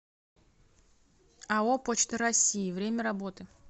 ао почта россии время работы